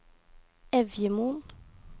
Evjemoen